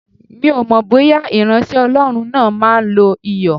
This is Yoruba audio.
Mi ò mọ̀ bóyá ìránṣẹ́ Ọlọ́run náà máa lo Iyọ̀.